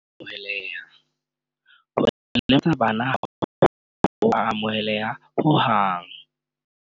Maitshwaro a sa lokang ha a amoheleha Ho lematsa bana ha ho a amohelela hohang.